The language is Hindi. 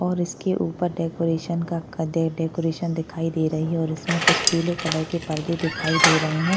और इसके उपर डेकोरेशन का डेकोरेशन दिखाई दे रही है और इसमें कुछ पीले कलर के पडदे दिखाई दे रही है।